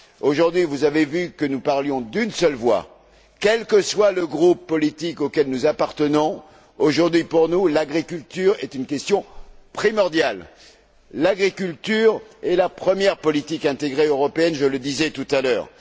Aujourd'hui, vous avez vu que nous parlions d'une seule voix, quel que soit le groupe politique auquel nous appartenons. Aujourd'hui, pour nous, l'agriculture est une question primordiale! L'agriculture est la première politique intégrée européenne, comme je le disais tout à l'heure.